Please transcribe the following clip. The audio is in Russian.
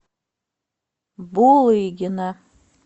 булыгина